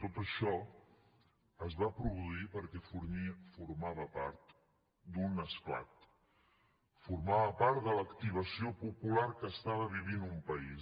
tot això es va produir perquè formava part d’un esclat formava part de l’activació popular que estava vivint un país